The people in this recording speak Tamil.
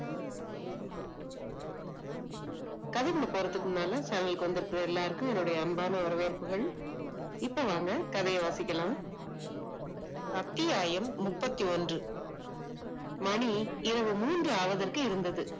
சபைக்கு வந்த தருவதற்கு முன்னாடி கதைக்கு போறதுக்குள்ள அவைக்கு வந்திருக்க எல்லாத்துக்கும் அன்பான வணக்கம் இப்ப வாங்க கதையை வாசிக்கலாம் அத்தியாயம் முப்பத்தி ஒன்று மணி இரவு மூன்று அளவுக்கு இருந்தது